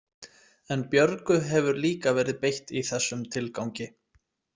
En Björgu hefur líka verið beitt í þessum tilgangi.